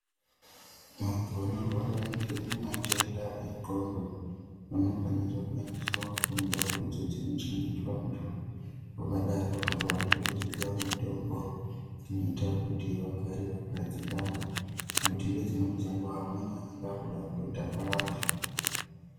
Vantu vanorwara ngematenda endxondo, vanofanirwa kuendeswa kundau idzo dzinochengetwa antu, vakadaro apo vanenge vachipiwa mitombo, inoita kuti vagare vakadzikama, nokuti ngedzimweni dzenguwa amweni anenge aakuda kutotaka vantu.